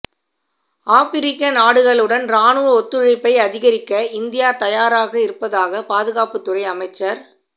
ஆபிரிக்க நாடுகளுடன் இராணுவ ஒத்துழைப்பை அதிகரிக்க இந்தியா தயாராக இருப்பதாக பாதுகாப்புத்துறை அமைச்சா்